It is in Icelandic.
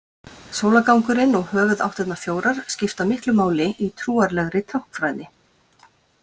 Sólargangurinn og höfuðáttirnar fjórar skipta miklu máli í trúarlegri táknfræði.